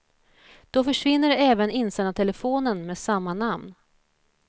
Då försvinner även insändartelefonen med samma namn.